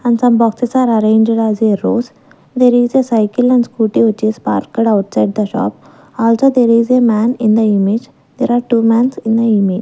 and some boxes are arranged as a rose there is a cycle and scooty which is parked outside the shop also there is a man in the image there are two man's in the image.